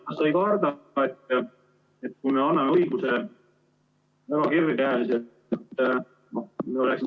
Kas sa ei karda, et kui me anname väga kergekäeliselt õiguse ... (Ühendus hakib, jutt ei ole arusaadav.